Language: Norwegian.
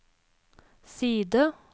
side